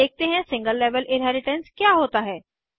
अब देखते हैं सिंगल लेवल इन्हेरिटेन्स क्या होता है